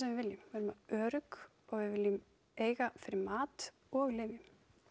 við viljum vera örugg og við viljum eiga fyrir mat og lyfjum